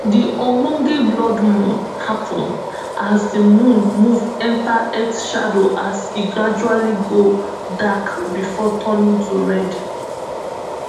di ogbonge blood moon happun as di moon move enta earth shadowas e gradually go dark before turning to red